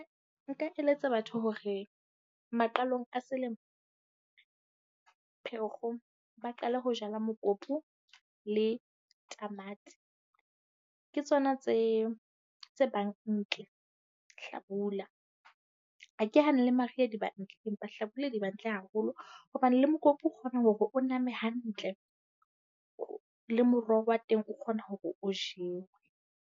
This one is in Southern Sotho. Nka eletsa batho hore maqalong a selemo, Pherekgong, ba qale ho jala mokopu le tamati. Ke tsona tse tse bang ntle Hlabula. Ha ke hane le Mariha di ba ntle empa Hlabula di ba hantle haholo hobane le mokopu o kgona hore o name hantle le moroho wa teng o kgona hore o jewe.